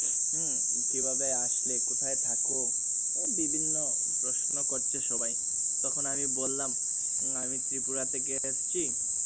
উম কিভাবে আসলে কোথায় থাকো বিভিন্ন প্রশ্ন করছে সবাই তখন আমি বললাম আমি ত্রিপুরা থেকে এসেছি